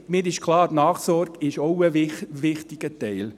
Mir ist klar, die Nachsorge ist auch ein wichtiger Teil.